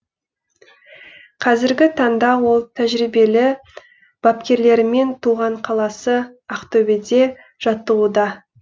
қазіргі таңда ол тәжірибелі бапкерлерімен туған қаласы ақтөбеде жаттығуда